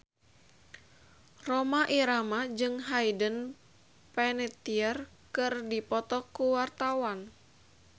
Rhoma Irama jeung Hayden Panettiere keur dipoto ku wartawan